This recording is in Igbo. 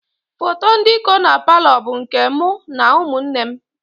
Foto ndị kọ na paalọ bụ nke mụ na ụmụ nne m